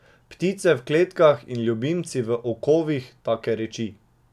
Ptice v kletkah in ljubimci v okovih, take reči.